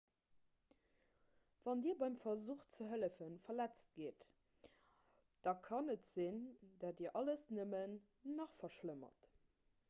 wann dir beim versuch ze hëllefen verletzt gitt da kann et sinn datt dir alles nëmmen nach verschlëmmert